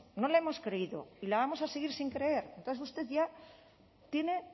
no la hemos creído y la vamos a seguir sin creer entonces usted ya tiene